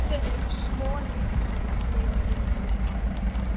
Svo lifnaði allt í einu yfir henni.